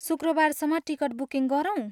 शुक्रबारसम्म ticket booking गरौँ?